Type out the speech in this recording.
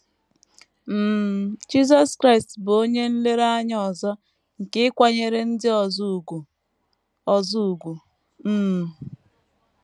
um Jisọs Kraịst bụ onye nlereanya ọzọ nke ịkwanyere ndị ọzọ ùgwù ọzọ ùgwù. um